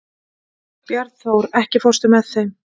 Bjarnþór, ekki fórstu með þeim?